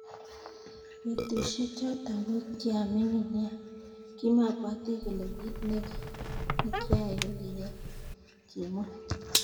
Betusiek chotok ko kiamining nea kimabwati kole kit nikiyae kokiya," kimwa.